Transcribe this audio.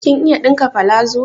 Kin iya ɗinka palazo?